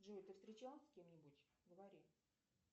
джой ты встречалась с кем нибудь говори